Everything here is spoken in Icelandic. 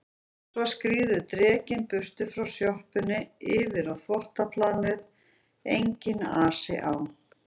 Svo skríður drekinn burt frá sjoppunni yfir á þvottaplanið, enginn asi á